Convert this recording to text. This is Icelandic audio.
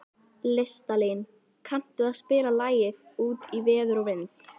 Listalín, kanntu að spila lagið „Út í veður og vind“?